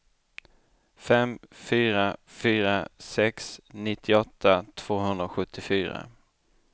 fem fyra fyra sex nittioåtta tvåhundrasjuttiofyra